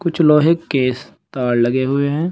कुछ लोहे केस तार लगे हुए हैं।